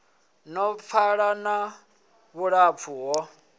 no pfala na vhulapfu ho